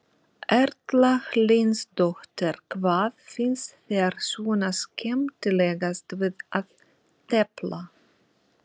Erla Hlynsdóttir: Hvað finnst þér svona skemmtilegast við að tefla?